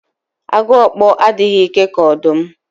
Agu okpo adịghị ike ka ọdụm